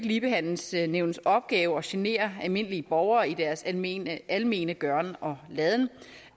ligebehandlingsnævnets opgave at genere almindelige borgere i deres almene almene gøren og laden